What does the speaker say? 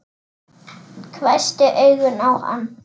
Hvessti augun á hann.